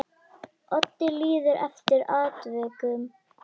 Oddi líður eftir atvikum vel.